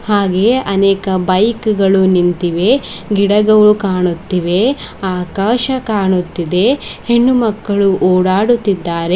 ಹಾಗೆಯೆ ಅನೇಕ ಬೈಕ್ ಗಳು ನಿಂತಿವೆ ಗಿಡಗವಳು ಕಾಣುತ್ತಿವೆ ಆಕಾಶ ಕಾಣುತ್ತಿದೆ ಹೆಣ್ಣುಮಕ್ಕಳು ಓಡಾಡುತ್ತಿದ್ದಾರೆ.